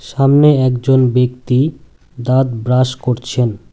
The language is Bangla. সামনে একজন ব্যক্তি দাঁত ব্রাশ করছেন।